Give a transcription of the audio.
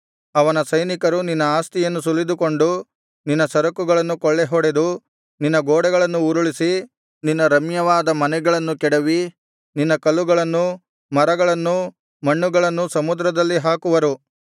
ಅವನ ಸೈನಿಕರು ನಿನ್ನ ಆಸ್ತಿಯನ್ನು ಸುಲಿದುಕೊಂಡು ನಿನ್ನ ಸರಕುಗಳನ್ನು ಕೊಳ್ಳೆಹೊಡೆದು ನಿನ್ನ ಗೋಡೆಗಳನ್ನು ಉರುಳಿಸಿ ನಿನ್ನ ರಮ್ಯವಾದ ಮನೆಗಳನ್ನು ಕೆಡವಿ ನಿನ್ನ ಕಲ್ಲುಗಳನ್ನೂ ಮರಗಳನ್ನೂ ಮಣ್ಣುಗಳನ್ನೂ ಸಮುದ್ರದಲ್ಲಿ ಹಾಕುವರು